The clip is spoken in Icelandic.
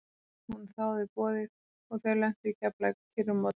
Hún þáði boðið og þau lentu í keflavík á kyrrum morgni.